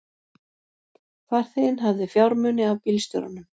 Farþeginn hafði fjármuni af bílstjóranum